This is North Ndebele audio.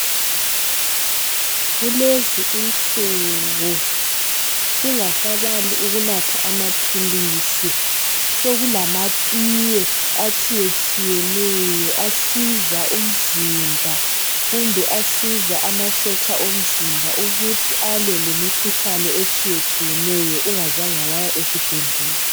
Kulezinsuku singasabali ukunatha amaphilisi, sokulamatiye atshiyetshiyeneyo asiza umzimba kumbe amasotsha omzimba ukuthi alwe lemikhuhlane etshiyetshiyeneyo ungazange waya esibhedlela.